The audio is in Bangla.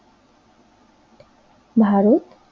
ভারত